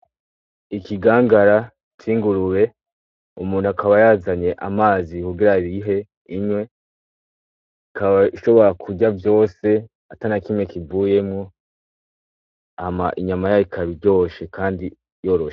ikigangara c' ingurube, umuntu akaba yazanye amazi kugira ayihe inywe, ikaba ishobora kurya vyose atanakimwe kivuyemwo, hama inyama yayo ikaba iryoshe kandi yaroshe.